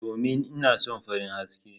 Domin ina son farin haske.